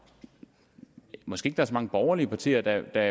måske ikke er så mange borgerlige partier der